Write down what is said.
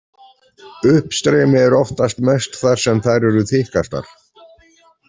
Uppstreymi er oftast mest þar sem þær eru þykkastar.